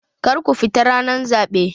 Kar ku fita ranar zaɓe!